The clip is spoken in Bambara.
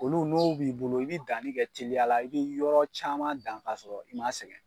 Olu n'o b'i bolo i bɛ dani kɛ teliya la i bɛ yɔrɔ caman dan ka sɔrɔ i man sɛgɛn.